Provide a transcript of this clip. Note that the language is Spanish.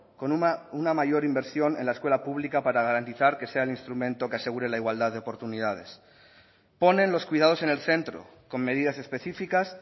con una mayor inversión en la escuela pública para garantizar que sea el instrumento que asegure la igualdad de oportunidades ponen los cuidados en el centro con medidas específicas